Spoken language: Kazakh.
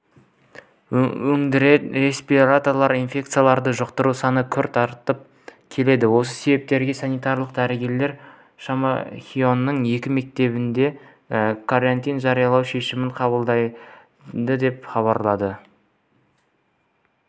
өңірде респираторлы инфекцияларды жұқтыру саны күрт артып келеді осы себепті санитарлық дәрігерлер шемонаиханың екі мектебінде карантин жариялау шешімін қабылдады деп хабарлады